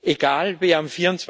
Egal, wer am